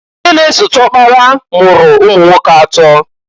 Nke na-esote ọkpara mụrụ ụmụnwoke atọọ.